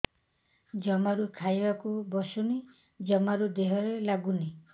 ଜମାରୁ ଖାଇବାକୁ ବସୁନି ଜମାରୁ ଦେହରେ ଲାଗୁନି